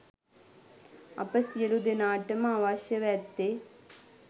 අප සියළු දෙනාට ම අවශ්‍යව ඇත්තේ